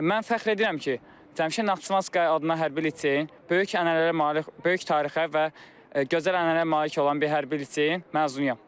Mən fəxr edirəm ki, Cəmşid Naxçıvanski adına Hərbi liseyin böyük ənənələrlə, böyük tarixə və gözəl ənənələrə malik olan bir hərbi liseyin məzunuyam.